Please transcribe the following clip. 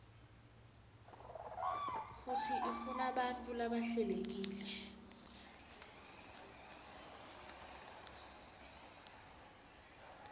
futsi ifunabantfu labahlelekile